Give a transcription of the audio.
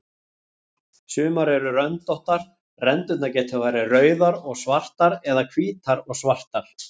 Sumar eru röndóttar, rendurnar geta verið rauðar og svartar eða hvítar og svartar.